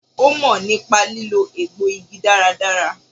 Ó mò nípa lílò egbò igi dáradára